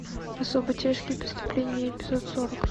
особо тяжкие преступления эпизод сорок